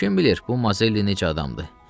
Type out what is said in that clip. Kim bilir, bu Mazelli necə adamdır?